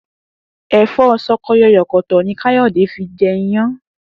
È̩fó̩ s̩o̩ko̩yò̩kò̩tò̩ ni Káyò̩dé fi je̩ iyán